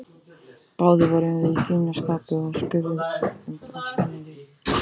Báðir vorum við í fínu skapi og skulfum af spenningi.